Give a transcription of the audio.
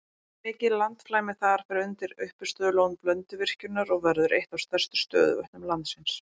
Mikið landflæmi þar fer undir uppistöðulón Blönduvirkjunar og verður eitt af stærstu stöðuvötnum landsins.